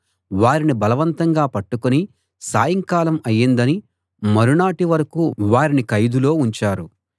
వారిని బలవంతంగా పట్టుకుని సాయంకాలం అయిందని మరునాటి వరకూ వారిని ఖైదులో ఉంచారు